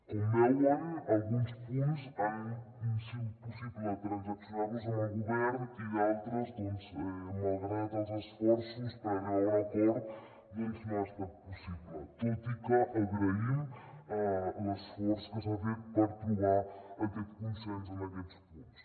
com veuen alguns punts ha sigut possible transaccionar los amb el govern i d’altres doncs malgrat els esforços per arribar a un acord no ha estat possible tot i que agraïm l’esforç que s’ha fet per trobar aquest consens en aquests punts